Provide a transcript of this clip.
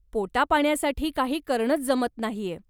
पोटापाण्यासाठी काही करणंच जमत नाहीय.